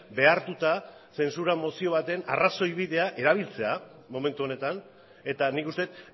behartuta zentsura mozioa baten arrazoi bidea erabiltzea momentu honetan eta nik uste dut